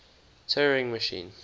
turing machine